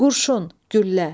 Qurşun, güllə.